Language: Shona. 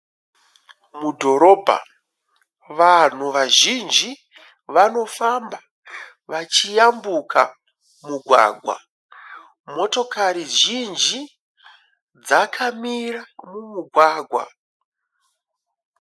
Mudhorobha vanhu vazhinji vanofamba vachiyambuka mugwagwa, motokari zhinji dzakamira mumugwagwa.